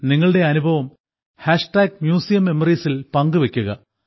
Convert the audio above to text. നിങ്ങളുടെ അനുഭവം museum memories ൽ പങ്കുവെയ്ക്കുക